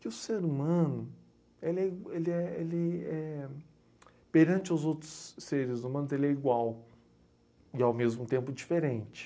Que o ser humano, ele é ele é ele é perante aos outros seres humanos, ele é igual e, ao mesmo tempo, diferente.